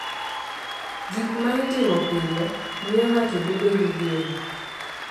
Gik ma itimo pile miyo ng’ato bedo gi geno,